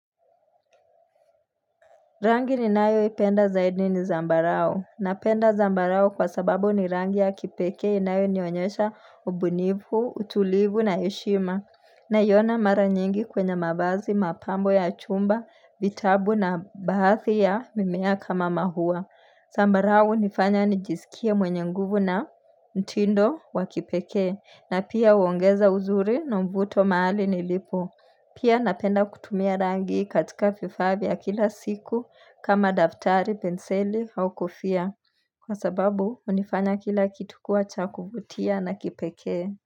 Rangi ninayoipenda zaidi ni zambarao. Napenda zambarao kwa sababu ni rangi ya kipekee inayonionyesha ubunifu, utulivu na heshima. Naiona mara nyingi kwenye mavazi, mapambo ya chumba, vitabu na baadhi ya mimea kama maua. Zambarao hunifanya nijisikie mwenye nguvu na mtindo wa kipekee na pia huongeza uzuri na mvuto mahali nilipo. Pia napenda kutumia rangi katika vifaa vya kila siku kama daftari, penseli, au kofia. Kwa sababu, hunifanya kila kitu kuwa cha kuvutia na kipekee.